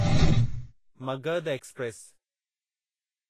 Magadh express